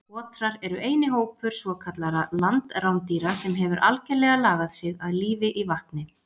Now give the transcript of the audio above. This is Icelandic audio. Otrar eru eini hópur svokallaðra landrándýra sem hefur algerlega lagað sig að lífi í vatni.